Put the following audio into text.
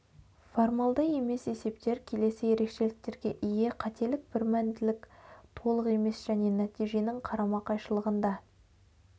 формалды емес есептер келесі ерекшеліктерге ие қателік бірмәнділік толық емес және нәтиженің қарама қайшылығында